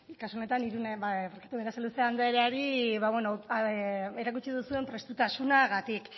kasu honetan irune berasaluze andereari erakutsi duzuen prestutasunagatik